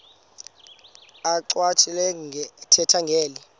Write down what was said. achwavitilevo ethetha ngeli